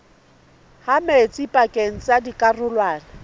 ha metsi pakeng tsa dikarolwana